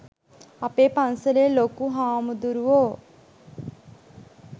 අපේ පන්සලේ ලොකු හාමුදුරුවෝ